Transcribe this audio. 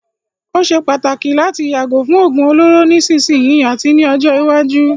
Ó ṣé pàtàkì láti yàgò fún òógún olóró nísìsiyìí àti ní ọjọ́ iwájú.